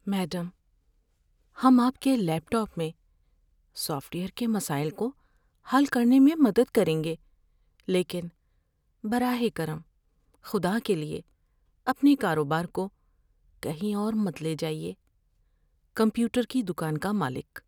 Madam, ہم آپ کے لیپ ٹاپ میں سافٹ ویئر کے مسائل کو حل کرنے میں مدد کریں گے لیکن براہ کرم، خدا کے لیے اپنے کاروبار کو کہیں اور مت لے جائیے۔ (کمپیوٹر کی دکان کا مالک)